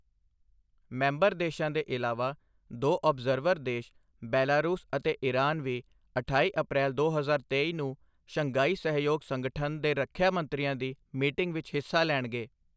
Member ਦੇਸ਼ਾਂ ਦੇ ਇਲਾਵਾ, ਦੋ ਔਬਜਰਵਰ ਦੇਸ਼ ਬੈਲਾਰੂਸ ਅਤੇ ਈਰਾਨ ਵੀ ਅਠਾਈ ਅਪ੍ਰੈਲ ਦੋ ਹਜ਼ਾਰ ਤੇਈ ਨੂੰ ਸ਼ੰਘਾਈ ਸਹਿਯੋਗ ਸੰਗਠਨ ਦੇ ਰੱਖਿਆ ਮੰਤਰੀਆਂ ਦੀ ਮੀਟਿੰਗ ਵਿੱਚ ਹਿੱਸਾ ਲੈਣਗੇ।